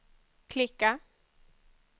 klicka